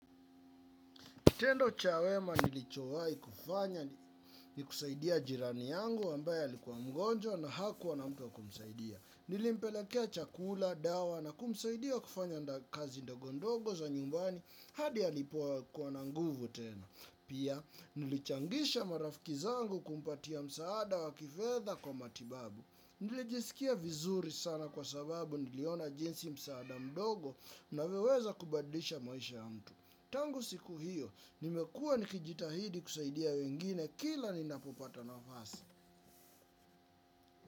Kitendo cha wema nilichowahi kufanya ni kusaidia jirani yangu ambae alikuwa mgonjwa na hakuwa na mtu wa kumsaidia. Nilimpelekea chakula, dawa na kumsaidia kufanya kazi ndogondogo za nyumbani hadi ya alipoa kuwa nanguvu tena. Pia nilichangisha marafiki zangu kumpatia msaada wa kifedha kwa matibabu. Nilijisikia vizuri sana kwa sababu niliona jinsi msaada mdogo unavyoweza kubadilisha maisha ya mtu. Tangu siku hiyo, nimekuwa nikijitahidi kusaidia wengine, kila ni napopata nafasi.